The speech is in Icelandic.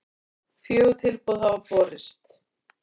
Fjögur tilboð hafa borist